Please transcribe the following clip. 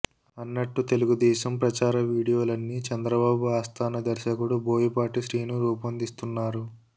అన్నట్టు తెలుగుదేశం ప్రచార వీడియోలన్నీ చంద్రబాబు ఆస్థాన దర్శకుడు బోయపాటి శ్రీను రూపొందిస్తున్నారు